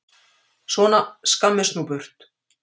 Svona, skammist nú burt!